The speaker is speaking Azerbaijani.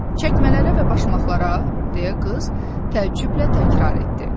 Çəkmələrə və başmaqlarə, deyə qız təəccüblə təkrar etdi.